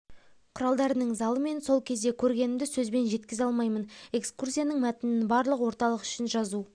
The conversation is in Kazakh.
құралдарының залы мен сол кезде көргенімді сөзбен жеткізе алмаймын экскурсияның мәтінін барлық орталық үшін жазу